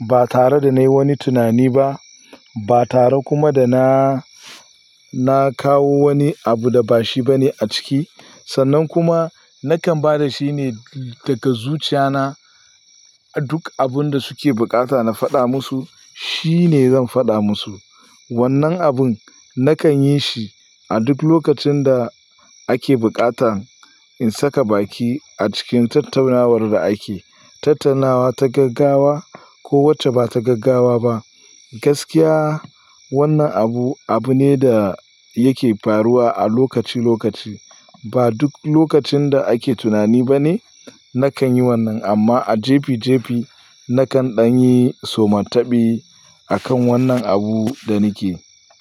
ba tare da na yi wani tunani ba, ba tare kuma da na, na kawo wani abu da ba shi ba ne a ciki. Sannan kuma nakan ba da shi ne daga zuciya na. A duk abun da suke buƙata na faɗa musu, shi ne zan faɗa musu. Wannan abun nakan yi shi a duk lokacin da ake buƙata in saka baki a cikin tattaunawar da ake, tattaunawa ta gaggawa ko wacce ba ta gaggawa ba. Gaskiya wannan abu, abu ne da yake faruwa a lokaci lokaci. Ba duk lokacin da ake tunani ba ne nakan yi wannan amma a jefi jefi nakan ɗan yi somatabi akan wannan abu da nake.